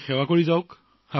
মাত্ৰ সেৱা অব্যাহত ৰাখক